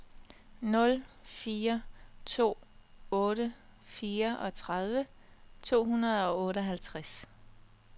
nul fire to otte fireogtredive to hundrede og otteoghalvtreds